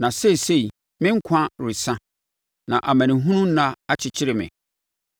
“Na seesei, me nkwa resa; na amanehunu nna akyekyere me.